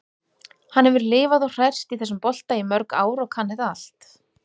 Hann hefur lifað og hrærst í þessum bolta í mörg ár og kann þetta allt.